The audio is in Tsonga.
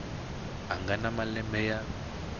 a nga na malembe ya